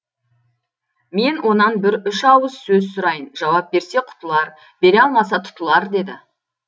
мен онан бір үш ауыз сөз сұрайын жауап берсе құтылар бере алмаса тұтылар деді